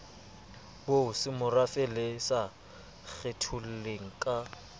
bosemorafe le sa kgetholleng ka